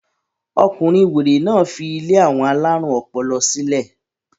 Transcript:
Ọkùnrin wèrè náà fi ilé àwọn alárùn ọpọlọ sílẹ̀.